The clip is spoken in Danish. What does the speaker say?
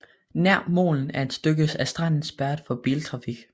Nær molen er et stykke af stranden spærret for biltrafik